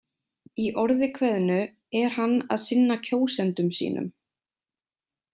Í orði kveðnu er hann að sinna kjósendum sínum.